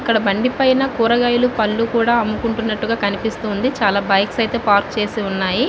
ఇక్కడ బండి పైనా కూరగాయలు పళ్ళు కూడా అమ్ముకుంటునటు కనిపిస్తుంది. చాల బైక్స్ అయితే పార్క్ చేసి ఉన్నాయి.